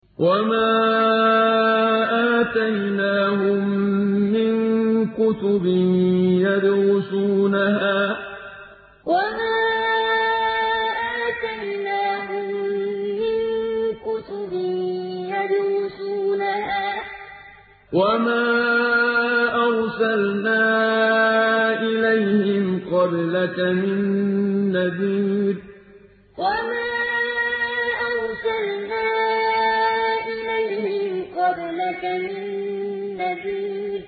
وَمَا آتَيْنَاهُم مِّن كُتُبٍ يَدْرُسُونَهَا ۖ وَمَا أَرْسَلْنَا إِلَيْهِمْ قَبْلَكَ مِن نَّذِيرٍ وَمَا آتَيْنَاهُم مِّن كُتُبٍ يَدْرُسُونَهَا ۖ وَمَا أَرْسَلْنَا إِلَيْهِمْ قَبْلَكَ مِن نَّذِيرٍ